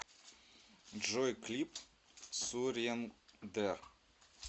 джой клип сурендер